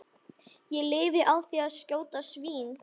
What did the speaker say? Ég lifi á því að skjóta svín.